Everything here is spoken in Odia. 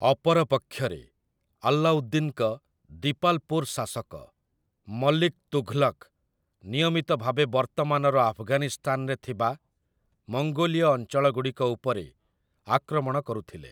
ଅପରପକ୍ଷରେ, ଆଲ୍ଲାଉଦ୍ଦିନ୍‌ଙ୍କ ଦିପାଲ୍‌ପୁର୍‌ ଶାସକ, ମଲିକ୍ ତୁଘ୍‌ଲକ୍‌, ନିୟମିତ ଭାବେ ବର୍ତ୍ତମାନର ଆଫଗାନିସ୍ତାନରେ ଥିବା ମଙ୍ଗୋଲୀୟ ଅଞ୍ଚଳଗୁଡ଼ିକ ଉପରେ ଆକ୍ରମଣ କରୁଥିଲେ ।